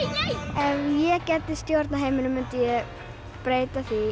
ef ég gæti stjórna heiminum þá myndi ég breyta því